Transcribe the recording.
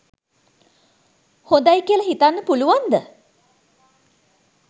හොඳයි කියල හිතන්න පුළුවන්ද?